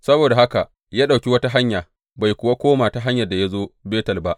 Saboda haka ya ɗauki wata hanya, bai kuwa koma ta hanyar da ya zo Betel ba.